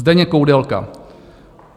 Zdeněk Koudelka.